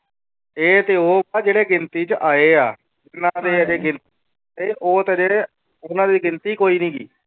ਇਹ ਤੇ ਉਹ ਨਾ ਜਿਹੜੇ ਗਿਣਤੀ ਚ ਆਏ ਆ ਜਿਹਨਾਂ ਦੀ ਹਜੇ ਗਿ ਉਹ ਜਿਹੜੇ ਉਹਨਾਂ ਦੀ ਗਿਣਤੀ ਕੋਈ ਨੀ ਗੀ।